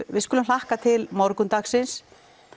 við skulum hlakka til morgundagsins